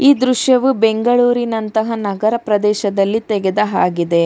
ಈ ದೃಶ್ಯವು ಬೆಂಗಳೂರಿನಂತಹ ನಗರದ ಪ್ರದೇಶದಲ್ಲಿ ತೆಗೆದ ಹಾಗಿದೆ.